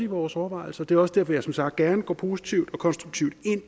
vores overvejelser det er også derfor jeg som sagt gerne går positivt og konstruktivt